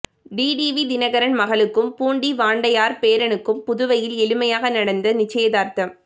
TTV Dhinakaran மகளுக்கும் பூண்டி வாண்டையார் பேரனுக்கும் புதுவையில் எளிமையாக நடந்த நிச்சயதார்த்தம்